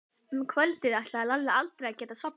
Um kvöldið ætlaði Lalli aldrei að geta sofnað.